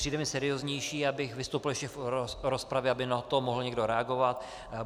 Přijde mi serióznější, abych vystoupil ještě v rozpravě, aby na to mohl někdo reagovat.